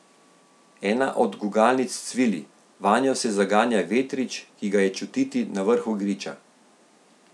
Ena od gugalnic cvili, vanjo se zaganja vetrič, ki ga je čutiti na vrhu griča.